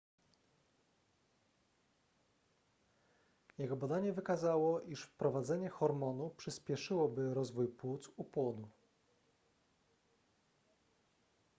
jego badanie wykazało iż wprowadzenie hormonu przyspieszyłoby rozwój płuc u płodu